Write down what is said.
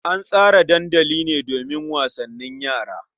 An tsara dandali ne domin wasannin yara.